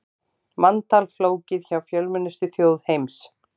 Manntal flókið hjá fjölmennustu þjóð heims